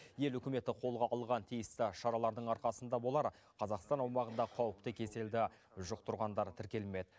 ел үкіметі қолға алған тиісті шаралардың арқасында болар қазақстан аумағында қауіпті кеселді жұқтырғандар тіркелмед